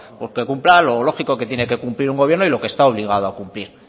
que cumpla lo lógico que tiene que cumplir un gobierno y lo que está obligado a cumplir